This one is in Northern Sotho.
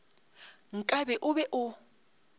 nka be o be o